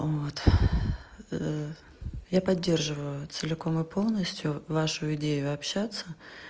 вот я поддерживаю целиком и полностью вашу идею общаться